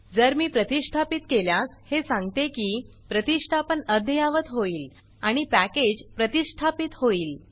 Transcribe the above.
जर मी प्रतिष्ठापीत केल्यास हे सांगते की प्रतिष्ठापन अद्यावात होईल आणि पॅकेज प्रतिष्ठापीत होईल